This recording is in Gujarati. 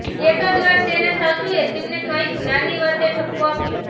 એકાદ વાર તેનાં સાસુએ તેને કંઈક નાની વાતે ઠપકો આપ્યો